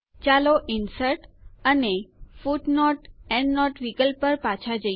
ચાલો ઇન્સર્ટ અને footnoteએન્ડનોટ વિકલ્પ પર પાછા જઈએ